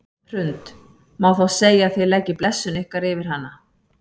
Hrund: Má þá segja að þið leggið blessun ykkar yfir hana?